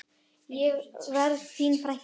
Ég verð þín frænka.